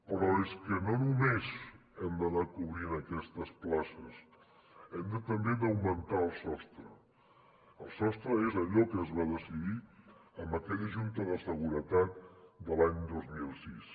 però és que no només hem d’anar cobrint aquestes places hem també d’augmentar el sostre el sostre és allò que es va decidir en aquella junta de seguretat de l’any dos mil sis